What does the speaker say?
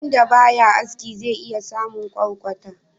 Wanda ba ya aski zai iya samun kwarkwata.